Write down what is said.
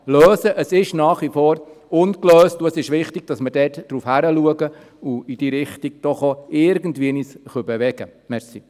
Es ist nach wie vor ungelöst, und es ist wichtig, dass wir dort darauf achten und uns doch auch irgendwie in diese Richtung bewegen können.